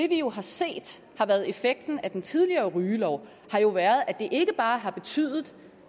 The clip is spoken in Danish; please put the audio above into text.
vi jo kan se har været effekten af den tidligere rygelov er at det ikke bare har betydet